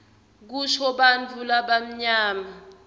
kusho bantfu labamnyama